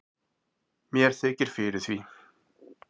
mér þykir fyrir því